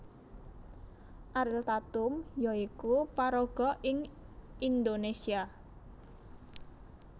Ariel Tatum ya iku paraga ing Indonésia